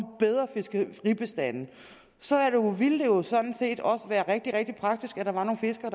bedre fiskebestande så ville det jo sådan set også være rigtig rigtig praktisk at der var nogle fiskere